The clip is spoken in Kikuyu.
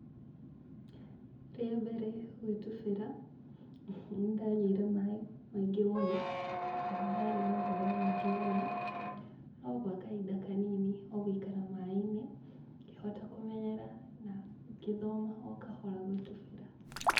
Rĩa mbere gwĩtubĩra, nĩ ndanyuire maĩ maingĩ mũno na nĩ ndarĩ na guoya mũingĩ mũno, no gwa kahinda kanini o gũikara maĩ-inĩ ngĩhota kũmenyera na ngĩthoma o kahora gũtubĩra.